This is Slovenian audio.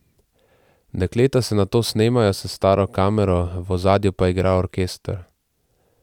Dekleta se nato snemajo s staro kamero, v ozadju pa igra orkester.